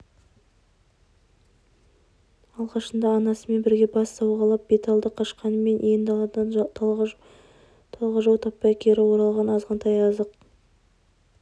алғашында анасымен бірге бас сауғалап беталды қашқанымен иен даладан талғажау таппай кері оралған азғантай азық